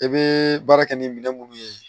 I bɛ baara kɛ ni minɛn minnu ye